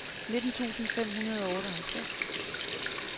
nitten tusind fem hundrede og otteoghalvtreds